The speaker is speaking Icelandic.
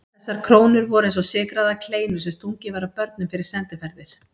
Þessar krónur voru eins og sykraðar kleinur sem stungið var að börnum fyrir sendiferðir.